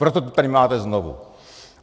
Proto to tady máte znovu.